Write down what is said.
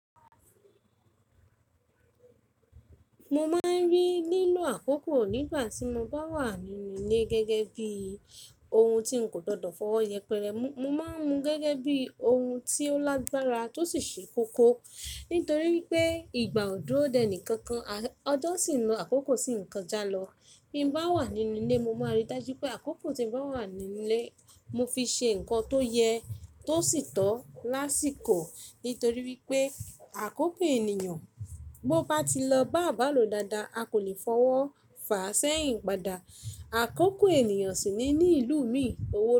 Mo máa ń rí lílo àkókò nígbà tí mo bá wà nínú ilé gẹ́gẹ́ bí ohun tí n kò gbọdọ̀ fọwọ́ yẹpẹrẹ mú. Mo máa ń mu gẹ́gẹ́ bí ohun tí ó lágbára tó sì ṣe kókó. Nítorí wípé ìgbà ò dúró dè ẹní kankan, ọjọ́ sì ń lo àkókò sì ń kọjá lọ. Bí m bá wà nínú ilé, mo máa rí i dájú pé àkókò tí mo bá wà nínú ilé, mo fi ṣe nǹkan tó yẹ tó sì tọ́ lásìkò. Nítorí wípé àkókò ènìyàn bó bá ti lọ bá à bà lo dáadáa, a kò lè fọwọ́ fa sẹ́yìn padà. Àkókò ènìyàn sì ni ní ìlú mi owó.